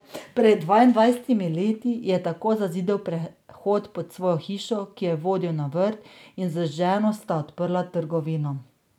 Pred dvaindvajsetimi leti je tako zazidal prehod pod svojo hišo, ki je vodil na vrt, in z ženo sta odprla trgovino.